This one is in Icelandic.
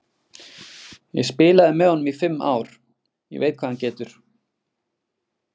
Ég spilaði með honum í fimm ár, ég veit hvað hann getur.